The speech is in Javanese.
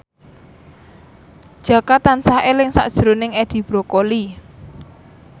Jaka tansah eling sakjroning Edi Brokoli